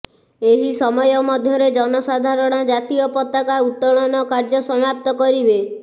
ଏହି ସମୟ ମଧ୍ୟରେ ଜନସାଧାରଣ ଜାତୀୟ ପତାକା ଉତ୍ତୋଳନ କାର୍ଯ୍ୟ ସମାପ୍ତ କରିବେ